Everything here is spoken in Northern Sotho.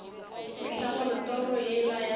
mehla gore toro yeo ya